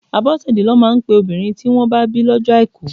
Abosede lọ máa ń pe obìnrin tí wọn bá bí lọ́jọ́ àìkú.